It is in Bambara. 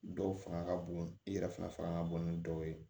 Dɔw fanga ka bon i yɛrɛ fana fanga ka bon ni dɔw ye